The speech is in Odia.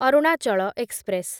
ଅରୁଣାଚଳ ଏକ୍ସପ୍ରେସ